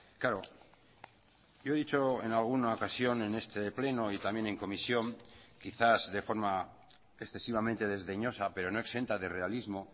claro yo he dicho en alguna ocasión en este pleno y también en comisión quizás de forma excesivamente desdeñosa pero no exenta de realismo